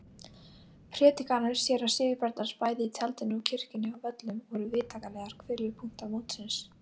Prédikanir séra Sigurbjarnar bæði í tjaldinu og kirkjunni á Völlum voru vitanlega hvirfilpunktar mótsins.